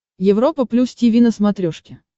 европа плюс тиви на смотрешке